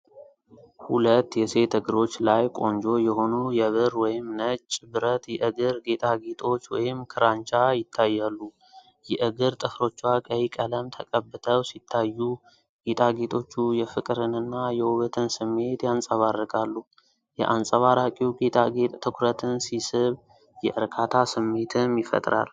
ሁለት የሴት እግሮች ላይ ቆንጆ የሆኑ የብር ወይም ነጭ ብረት የእግር ጌጣጌጦች (ክራንቻ) ይታያሉ። የእግር ጥፍሮቿ ቀይ ቀለም ተቀብተው ሲታዩ፣ ጌጣጌጦቹ የፍቅርንና የውበትን ስሜት ያንጸባርቃሉ። የአንጸባራቂው ጌጣጌጥ ትኩረትን ሲስብ፣ የእርካታ ስሜትም ይፈጠራል።